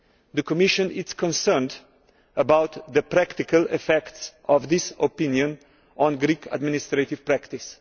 The Commission is concerned about the practical effects of this opinion on Greek administrative practice.